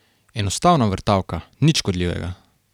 Enostavna vrtavka, nič škodljivega.